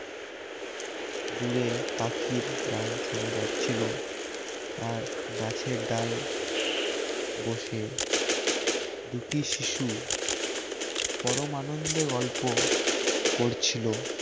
দূরে পাখির গান শোনা যাচ্ছিল আর গাছের ডাল বসে দুটি শিশু পরম আনন্দে গল্প করছিল